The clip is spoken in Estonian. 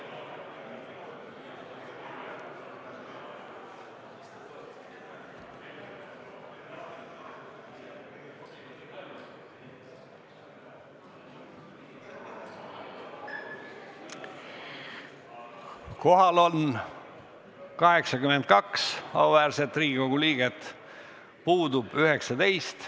Kohaloleku kontroll Kohal on 82 auväärset Riigikogu liiget, puudub 19.